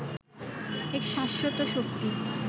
এক শাশ্বত শক্তি